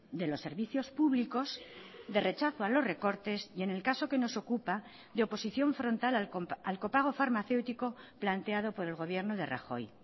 de los servicios públicos de rechazo a los recortes y en el caso que nos ocupa de oposición frontal al copago farmacéutico planteado por el gobierno de rajoy